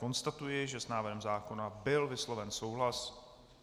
Konstatuji, že s návrhem zákona byl vysloven souhlas.